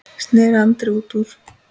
sneri Andri út úr.